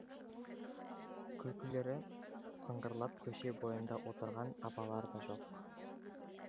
күлкілері сыңғырлап көше бойында отырған апалар да жоқ